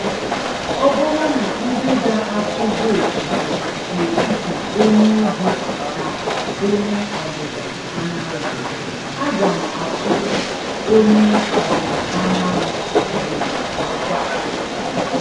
Ọ bụrụ na ndị ga-atụ votu bụ n’etiti onye Ugwu na onye Ọdịda Anyanwụ, aga m atụ onye Ọdịda Anyanwụ ugboro asaa!